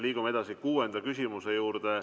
Liigume edasi kuuenda küsimuse juurde.